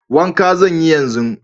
Wanka zan yi yanzu.